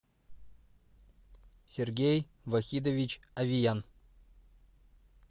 сергей вахидович авиян